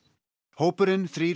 hópurinn þrír